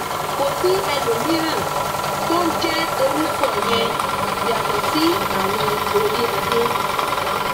kò sí ẹlòmíràn tó ń jẹ orúkọ yẹn yàtọ sí àwọn oríadé